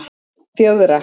fjögra